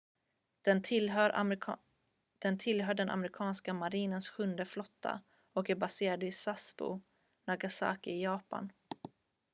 den tillhör den amerikanska marinens sjunde flotta och är baserad i sasebo nagasaki i japan